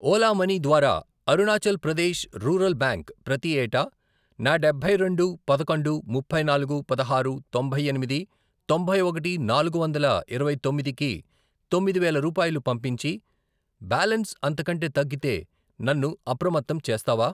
Ola money ద్వారా Arunachal Pradesh rural bank ప్రతి ఏటా నా డబ్బై రెండు, పదకొండు, ముప్పై నాలుగు, పదహారు, తొంభై ఎనిమిది, తొంభై ఒకటి, నాలుగు వందల ఇరవై తొమ్మిది, కి తొమ్మిది వేలు రూపాయలు పంపించి, బ్యాలన్స్ అంతకంటే తగ్గితే నన్ను అప్రమత్తం చేస్తావా?